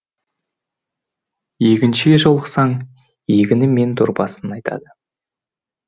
егіншіге жолықсаң егіні мен дорбасын айтады